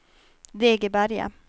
Degeberga